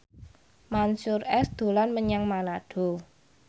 Mansyur S dolan menyang Manado